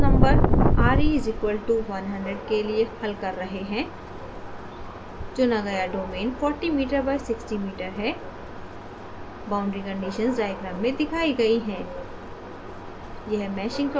हम इसे reynolds number re = 100 के लिए हल कर रहे हैं चुना गया डोमेन 40m by 60m है boundary conditions डायग्राम में दिखाई गई हैं